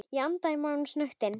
Ég anda maganum snöggt inn.